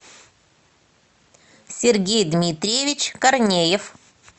сергей дмитриевич корнеев